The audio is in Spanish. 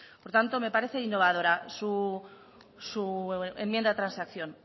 por tanto me parece innovadora su enmienda de transacción